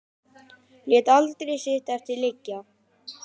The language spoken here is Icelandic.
Lét aldrei sitt eftir liggja.